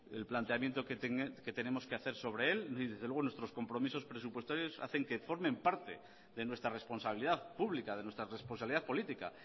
el planteamiento que tenemos que hacer sobre él y desde luego nuestros compromisos presupuestarios hacen que forme parte de nuestra responsabilidad pública de nuestra responsabilidad política